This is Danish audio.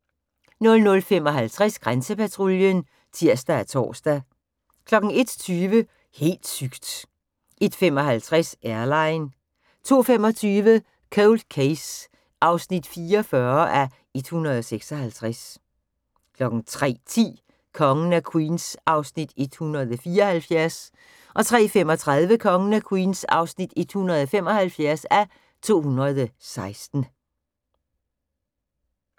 00:55: Grænsepatruljen (tir og tor) 01:20: Helt sygt! 01:55: Airline 02:25: Cold Case (44:156) 03:10: Kongen af Queens (174:216) 03:35: Kongen af Queens (175:216)